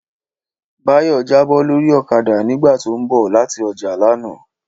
Báyọ̀ jábọ́ lórí ọ̀kadà nígbà tó ń bọ̀ láti ọjà lánàá